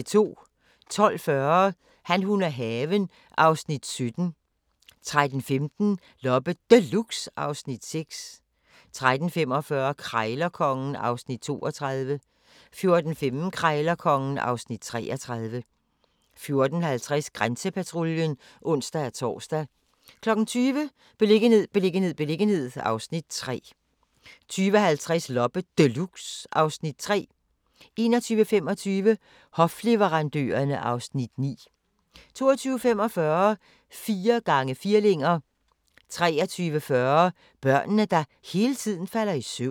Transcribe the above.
12:40: Han, hun og haven (Afs. 17) 13:15: Loppe Deluxe (Afs. 6) 13:45: Krejlerkongen (Afs. 32) 14:15: Krejlerkongen (Afs. 33) 14:50: Grænsepatruljen (ons-tor) 20:00: Beliggenhed, beliggenhed, beliggenhed (Afs. 3) 20:50: Loppe Deluxe (Afs. 3) 21:25: Hofleverandørerne (Afs. 9) 22:45: Fire gange firlinger 23:40: Børnene, der hele tiden falder i søvn